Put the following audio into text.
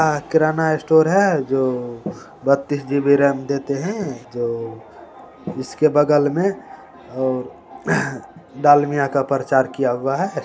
आ किराना स्टोर है जो बत्तीस जी_बी रेम देते है जो इसके बगल में डालमिया का प्रचार किया हुआ है ।